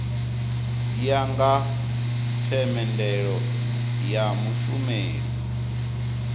ya nga themendelo ya mushumeli